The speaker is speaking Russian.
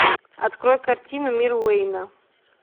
открой картину мир уэйна